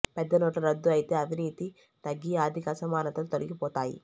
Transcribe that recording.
పెద్ద నోట్లు రద్దు అయితే అవినీతి తగ్గి ఆర్థిక అసమానతలు తొలగిపోతాయి